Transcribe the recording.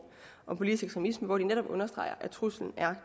om politisk ekstremisme hvor de netop understreger at truslen er